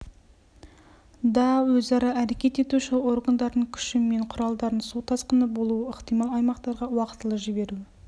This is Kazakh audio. да өзара әрекет етуші органдардың күші мен құралдарын су тасқыны болуы ықтимал аймақтарға уақытылы жіберу